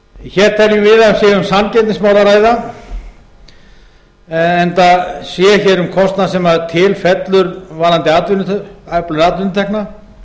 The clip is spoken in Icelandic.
hér teljum við að sé um samkeppnismál að ræða enda sé hér um kostnað sem til fellur varðandi öflun atvinnutekna